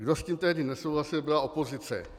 Kdo s tím tehdy nesouhlasil, byla opozice.